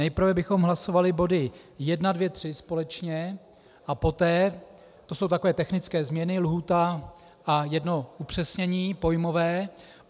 Nejprve bychom hlasovali body 1, 2, 3 společně, a poté - to jsou takové technické změny, lhůta a jedno upřesnění pojmové.